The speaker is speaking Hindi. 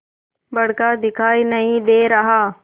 बड़का दिखाई नहीं दे रहा